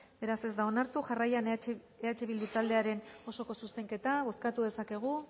beraz ez da onartu jarraian eh bildu taldearen osoko zuzenketa bozkatu dezakegu